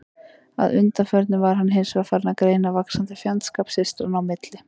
Að undanförnu var hann hins vegar farinn að greina vaxandi fjandskap systranna í milli.